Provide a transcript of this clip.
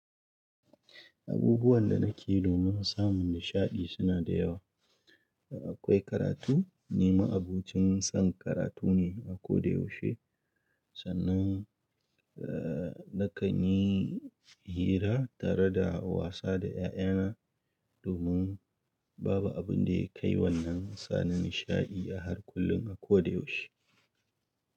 Abubuwan da nake yi domin samun nishaɗi suna da yawa. Akwai karatu, ni ma'abocin son karatu ne a kodayaushe. Sannan, eh, nakan yi hira tare da wasa da 'ya'yana domin babu abin da ya kai wannan suna nishaɗi a harkullun a kodayaushe.